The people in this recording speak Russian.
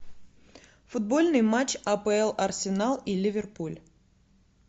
футбольный матч апл арсенал и ливерпуль